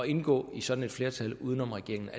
indgå i sådan et flertal uden om regeringen